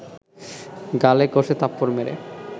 গালে কষে থাপ্পড় মেরে